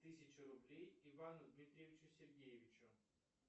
тысячу рублей ивану дмитриевичу сергеевичу